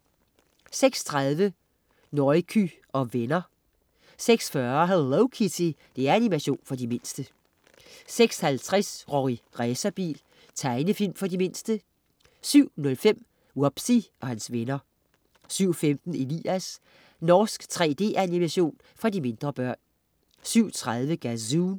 06.30 Nouky og venner 06.40 Hello Kitty. Animation for de mindste 06.50 Rorri Racerbil. Tegnefilm for de mindste 07.05 Wubbzy og hans venner 07.15 Elias. Norsk 3D-animation for mindre børn 07.30 Gazoon